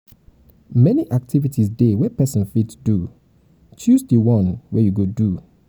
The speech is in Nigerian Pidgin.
many activities de wey persin fit do choose di one wey you go do